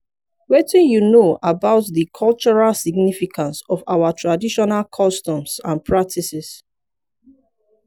wetin you know about di cultural significance of our traditional customs and practices.